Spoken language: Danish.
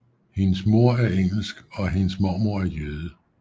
Hendes mor er engelsk og og hendes mormor er jøde